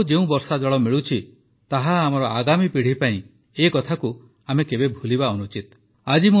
ଆମକୁ ଯେଉଁ ବର୍ଷାଜଳ ମିଳୁଛି ତାହା ଆମର ଆଗାମୀ ପିଢ଼ି ପାଇଁ ଏକଥାକୁ ଆମେ କେବେ ଭୁଲିବା ଅନୁଚିତ